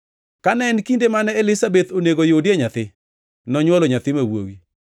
Kane en kinde mane Elizabeth onego yudie nyathi, nonywolo nyathi ma wuowi.